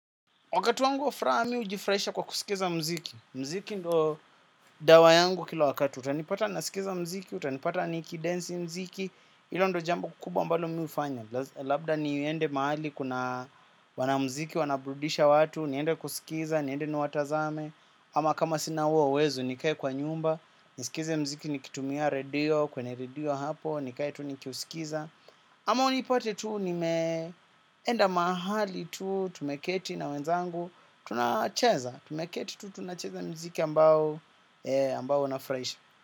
Wakati wangu wa furaha mi hujifurahisha kwa kusikiza muziki. Muziki ndo dawa yangu kila wakati. Utanipata nasikiza muziki, utanipata nikidensi mziki. Hilo ndo jambo kubwa ambalo mi hufanya. Labda niende mahali kuna wanamuziki, wanaburudisha watu. Niende kusikiza, niende niwatazame. Ama kama sina huo uwezo, nikae kwa nyumba. Nisikize mziki nikitumia radio, kwenye radio hapo. Nikae tu nikiusikiza. Ama unipate tuu, nimeenda mahali tuu, tumeketi na wenzangu. Tunacheza, tumeketi tu tunacheza mziki ambao na unafurahisha.